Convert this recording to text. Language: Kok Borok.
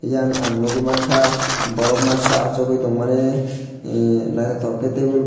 yang ang nugui mang kha borok masa achuk tongmani ee naithotok khe table.